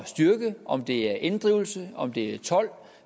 styrke om det er inddrivelse om det er told